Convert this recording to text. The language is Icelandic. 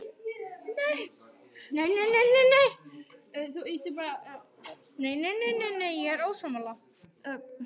Ég er til í smá róður en ekki að veiða.